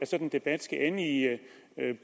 sådan debat skal ende i